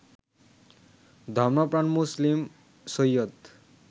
ধর্মপ্রাণ মুসলিম সৈয়দ